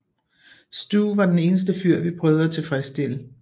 Stu var den eneste fyr vi prøvede at tilfredsstille